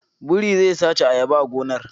Biri zai sace ayaba a gonar